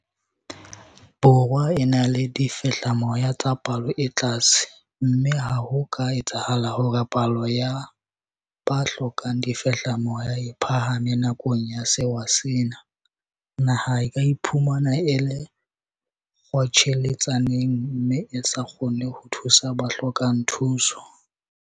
Borwa e na le difehlamoya tsa palo e tlase mme ha ho ka etsahala hore palo ya ba hlokang difehlamoya e phahame nakong ya sewa sena, naha e ka iphumana e le kgotjheletsaneng mme e sa kgone ho thusa ba hlokang thuso.